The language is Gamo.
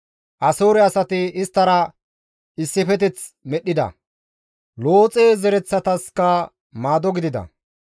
Asoore asati isttara issifeteth medhdhida; Looxe zaretaskka maado gidida.